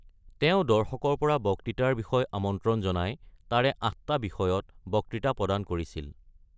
তেওঁ দৰ্শকৰ পৰা বক্তৃতাৰ বিষয় আমন্ত্ৰণ জনাই তাৰে আঠটা বিষয়ত বক্তৃতা প্ৰদান কৰিছিল।